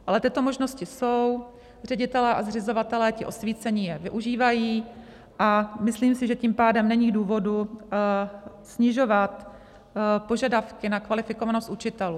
Ale tyto možnosti jsou, ředitelé a zřizovatelé, ti osvícení, je využívají a myslím si, že tím pádem není důvod snižovat požadavky na kvalifikovanost učitelů.